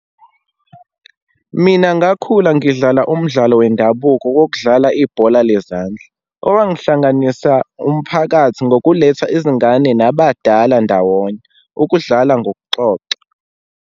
Mina ngakhula ngidlala umdlalo wendabuko wokudlala ibhola lezandla. Owangihlanganisa umphakathi ngokuletha izingane nabadala ndawonye, ukudlala ngokuxoxa.